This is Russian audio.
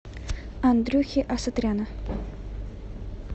андрюхи асатряна